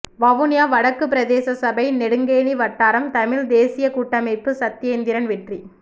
வவுனியா வடக்கு பிரதேசசபை நெடுங்கேணி வட்டாரம் தமிழ் தேசியக்கூட்டமைப்பு சத்தியேந்திரன் வெற்றி